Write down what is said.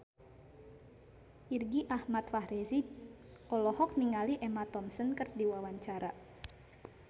Irgi Ahmad Fahrezi olohok ningali Emma Thompson keur diwawancara